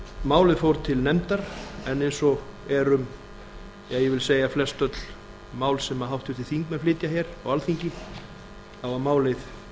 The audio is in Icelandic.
málið fór til nefndar en eins og er um ég vil segja um flestöll mál sem háttvirtir þingmenn flytja hér á alþingi þá var málið